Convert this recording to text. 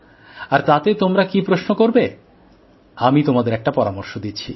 আর তাতে তোমরা কী প্রশ্ন করবে আমি তোমাদের একটা পরামর্শ দিচ্ছি